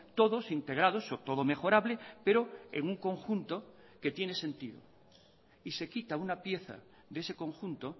todos integrados o todo mejorable pero en un conjunto que tiene sentido y se quita una pieza de ese conjunto